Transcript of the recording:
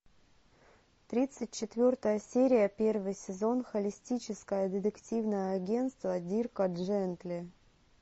тридцать четвертая серия первый сезон холистическое детективное агентство дирка джентли